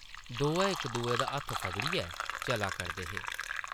दोऐ इक दुए दा हत्थ फगड़ियै चला करदे हे ।